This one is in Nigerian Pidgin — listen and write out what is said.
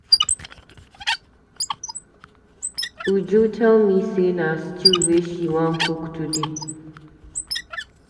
Uju tell me say na stew wey she wan cook today.